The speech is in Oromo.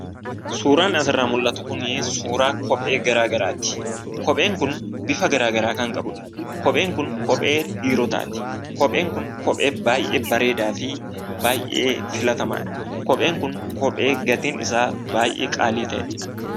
Suuraan asirraa mul'atu kunii suuraa kophee garaa garaati. Kopheen kun bifa garaa garaa kan qabudha. Kopheen kun kophee dhiirotaati. Kopheen kun kophee baay'ee bareedaa fi baay'ee filatamaadha. Kopheen kun kophee gatiin isaa baay'ee qaalii ta'edha.